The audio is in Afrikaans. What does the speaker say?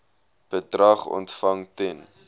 bedrag ontvang ten